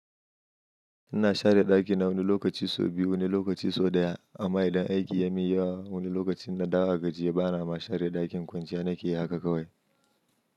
Ina share ɗakina wani lokaci sau biyu, wani lokaci sau ɗaya. Amma idan aiki ya min yawa wani lokacin na dawo gajiye bana ma share ɗakin kwanciya nakeyi haka kawai.